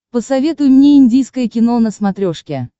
посоветуй мне индийское кино на смотрешке